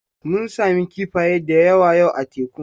Mun sami kifaya da yawa yau a tekun.